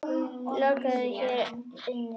Lokuðu hér inni.